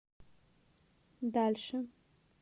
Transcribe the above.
дальше